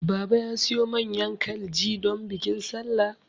Baba ya siyo manyan kalji don bikin sallah